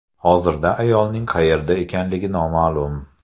Hozirda ayolning qayerda ekanligi noma’lum.